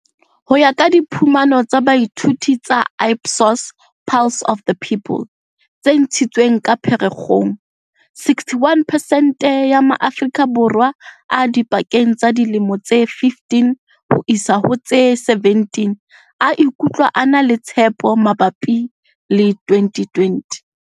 Ho ya ka diphumano tsa boithuto tsa Ipsos Pulse of the People tse ntshitsweng ka Pherekgong, 61 pesente ya ma-Aforika Borwa a dipakeng tsa dilemo tse 15 ho isa ho tse 17 a ikutlwa a na le tshepo mabapi le 2020.